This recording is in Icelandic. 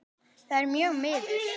Það er mjög miður.